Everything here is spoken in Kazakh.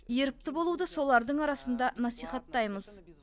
ерікті болуды солардың арасында насихаттаймыз